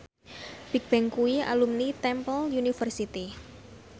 Bigbang kuwi alumni Temple University